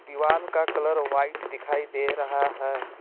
दीवाल का colour white दिखाई दे रहा है।